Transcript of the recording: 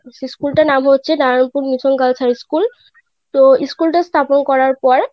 সেই School টার নাম হয়েছে Narayanpur mission girls high school তো School টা স্থাপন করার পর,